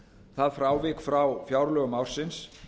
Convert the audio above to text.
það frávik frá fjárlögum ársins